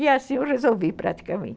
E assim eu resolvi praticamente.